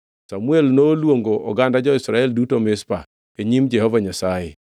Samuel noluongo oganda jo-Israel duto Mizpa e nyim Jehova Nyasaye,